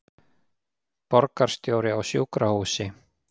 Borgarstjóri á sjúkrahúsi